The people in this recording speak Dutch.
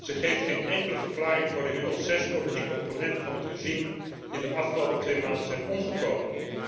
Zij geeft geen enkele verklaring voor de inmiddels zes politieke opponenten van het regime die de afgelopen twee maanden zijn omgekomen.